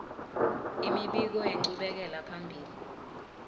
imibiko yenchubekela phambili